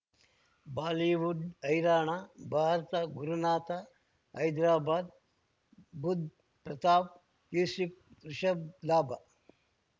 Bollywood ಹೈರಾಣ ಭಾರತ ಗುರುನಾಥ ಹೈದರಾಬಾದ್ ಬುಧ್ ಪ್ರತಾಪ್ ಯೂಸುಫ್ ರಿಷಬ್ ಲಾಭ